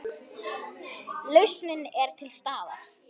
Lausnin er til staðar.